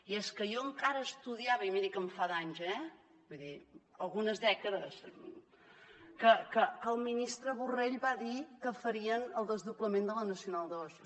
i és que jo encara estudiava i miri que en fa d’anys eh vull dir algunes dècades que el ministre borrell va dir que farien el desdoblament de la nacional ii